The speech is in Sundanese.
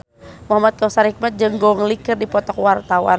Muhamad Kautsar Hikmat jeung Gong Li keur dipoto ku wartawan